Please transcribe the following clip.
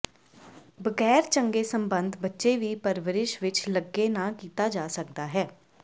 ਬਗੈਰ ਚੰਗੇ ਸੰਬੰਧ ਬੱਚੇ ਦੀ ਪਰਵਰਿਸ਼ ਵਿਚ ਲੱਗੇ ਨਾ ਕੀਤਾ ਜਾ ਸਕਦਾ ਹੈ